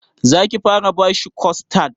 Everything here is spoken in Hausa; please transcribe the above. Za ki fara bashi kostad?